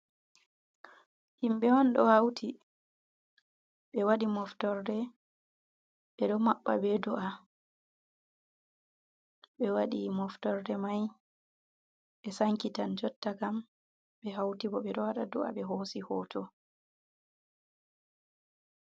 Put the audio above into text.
Himɓe on ɗo hauti ɓe wadi moftorde, ɓeɗo mabba be do’a, ɓe wadi moftorde mai ɓe sanki tan jotta kam ɓe hauti bo ɓe ɗo wada do’a ɓe hosi hoto.